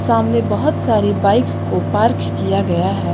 सामने बहुत सारी बाइक को पार्क किया गया है।